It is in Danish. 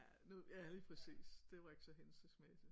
Ja nu ja lige præcis det var ikke så hensigtsmæssigt